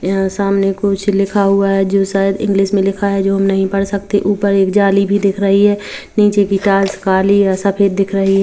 यहाँ सामने लिखा हुआ है जो शायद इंग्लिश मे लिखा है जो हम नहीं पढ़ सकते ऊपर एक जाली भी दिख रही है नीचे कि टाइल्स काली ओर सफेद दिख रही है।